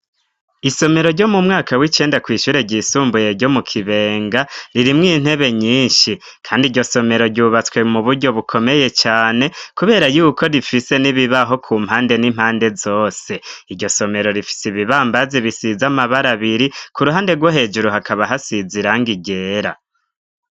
Isomero ryo mu mwaka w'icenda kw'ishure ryisumbuye ryo mu Kibenga, ririmwo intebe nyinshi. Kandi iryo somero ryubatswe mu buryo bukomeye cane, kubera y'uko rifise n'ibibaho ku mpande n'impande zose. Iryo somero rifise ibibambazi bisize amabara abiri, ku ruhande rwo hejuru hakaba hasize irangi ryera.